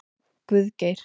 Guðgeir